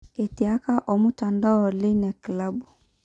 Etiaka omutandao leina kilabu.